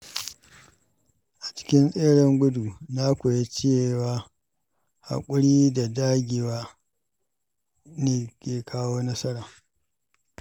A cikin tseren gudu, na koyi cewa haƙuri da dagewa ne ke kawo nasara.